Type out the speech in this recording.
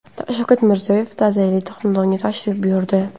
Shavkat Mirziyoyev ta’ziyali xonadonga tashrif buyurdi .